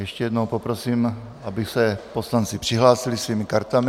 Ještě jednou poprosím, aby se poslanci přihlásili svými kartami.